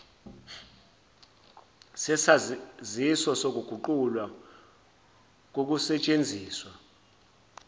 sesaziso sokuguqulwa kokusesthenziswa